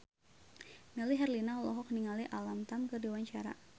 Melly Herlina olohok ningali Alam Tam keur diwawancara